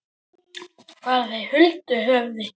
Fara þeir huldu höfði?